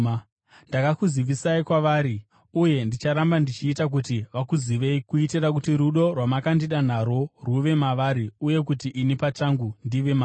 Ndakakuzivisai kwavari, uye ndicharamba ndichiita kuti vakuzivei kuitira kuti rudo rwamakandida narwo rwuve mavari uye kuti ini pachangu ndive mavari.”